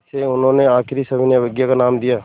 इसे उन्होंने आख़िरी सविनय अवज्ञा का नाम दिया